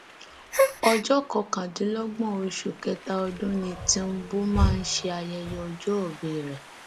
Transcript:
ọjọ kọkàndínlọgbọn oṣù kẹta ọdún ni tìǹbù máa ń ṣayẹyẹ ọjọgbe rẹ